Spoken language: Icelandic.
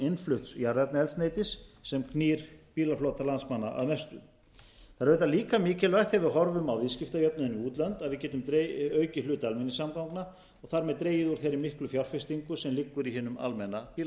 innflutts jarðefnaeldsneytis sem knýr bílaflota landsmanna að mestu það er auðvitað líka mikilvægt þegar við horfum á viðskiptajöfnuðinn við útlönd að við getum aukið hlut almenningssamgangna og þar með dregið úr þeirri miklu fjárfestingu sem liggur í hinum almenna bílaflota